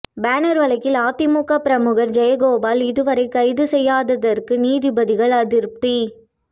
banner வழக்கில் அதிமுக பிரமுகர் ஜெயகோபால் இதுவரை கைது செய்யாததற்கு நீதிபதிகள் அதிருப்தி